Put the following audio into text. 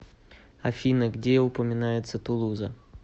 афина где упоминается тулуза